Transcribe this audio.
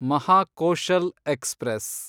Mahakoshal express